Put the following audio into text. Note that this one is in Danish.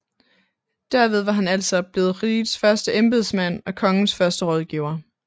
Derved var han altså blevet rigets første embedsmand og Kongens første rådgiver